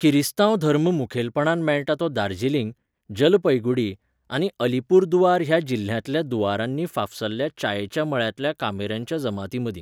किरिस्तांव धर्म मुखेलपणान मेळटा तो दार्जिलिंग, जलपैगुडी आनी अलीपुरदुआर ह्या जिल्ह्यांतल्या दुआरांनी फाफसल्ल्या च्यायेच्या मळ्यांतल्या कामेऱ्यांच्या जमातींमदीं.